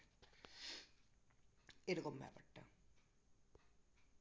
এরকম ব্যাপারটা